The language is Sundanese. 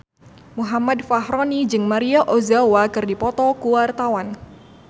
Muhammad Fachroni jeung Maria Ozawa keur dipoto ku wartawan